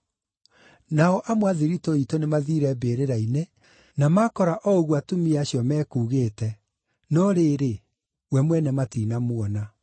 Nao amwe a thiritũ iitũ nĩmathiire mbĩrĩra-inĩ, na makora o ũguo atumia acio mekuugĩte, no rĩrĩ, we mwene matinamuona.”